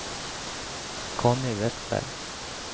Conny Vestberg